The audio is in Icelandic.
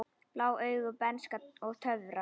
Blá augu, bernska og töfrar